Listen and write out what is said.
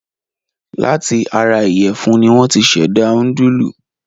Láti ara ìyẹ̀fún ni wọ́n ti ṣẹ̀dá núdúlù.